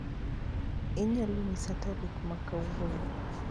Inyalo nyisa tarik makawuono